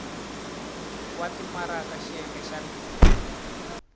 wa timaraka xiyenge xa b